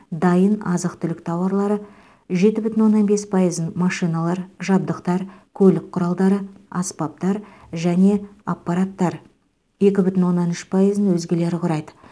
дайын азық түлік тауарлары жеті бүтін оннан бес пайызын машиналар жабдықтар көлік құралдары аспаптар және аппараттар екі бүтін оннан үш пайызын өзгелері құрайды